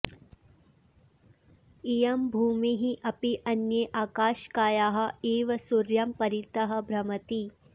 इयं भूमिः अपि अन्ये आकाशकायाः इव सूर्यं परितः भ्रमति